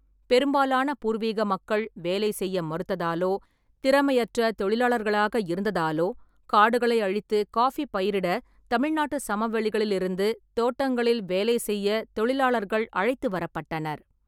பெரும்பாலான பூர்வீக மக்கள் வேலை செய்ய மறுத்ததாலோ திறமையற்ற தொழிலாளர்களாக இருந்ததாலோ, காடுகளை அழித்து காபி பயிரிட தமிழ்நாட்டுச் சமவெளிகளிலிருந்து தோட்டங்களில் வேலை செய்யத் தொழிலாளர்கள் அழைத்து வரப்பட்டனர்.